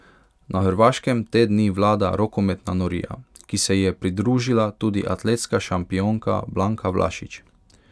Na Hrvaškem te dni vlada rokometna norija, ki se ji je pridružila tudi atletska šampionka Blanka Vlašić.